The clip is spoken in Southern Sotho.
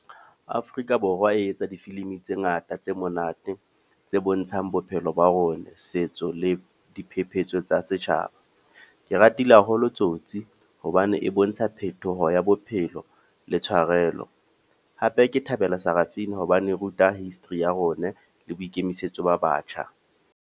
Afrika Borwa e etsa difilimi tse ngata, tse monate. Tse bontshang bophelo ba rona, setso le diphephetso tsa setjhaba. Ke ratile holo Tsotsi hobane e bontsha phetoho ya bophelo le tshwarelo. Hape ke thabela Sarafina hobane e ruta history ya rona le boikemisetso ba batjha.